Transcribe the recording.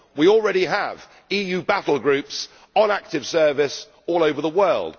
we already have EU battle groups on active service all over the world